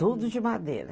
Tudo de madeira.